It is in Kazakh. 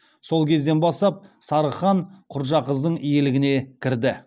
сол кезден бастап сарығ хан құрджақыздың иелігіне кірді